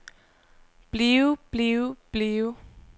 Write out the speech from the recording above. blive blive blive